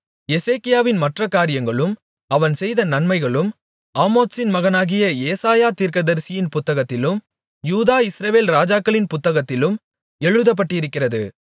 எசேக்கியாவின் மற்ற காரியங்களும் அவன் செய்த நன்மைகளும் ஆமோத்சின் மகனாகிய ஏசாயா தீர்க்கதரிசியின் புத்தகத்திலும் யூதா இஸ்ரவேல் ராஜாக்களின் புத்தகத்திலும் எழுதப்பட்டிருக்கிறது